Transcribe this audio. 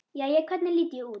Jæja, hvernig lít ég út?